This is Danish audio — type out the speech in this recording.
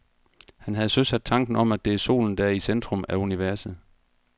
Han havde søsat tanken om, at det er solen, der er i centrum af universet.